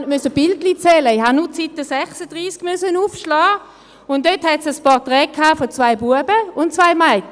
Dort musste ich gar keine Bilder zählen, ich musste nur die Seite 36 aufschlagen, wo es ein Portrait von zwei Knaben und zwei Mädchen hatte.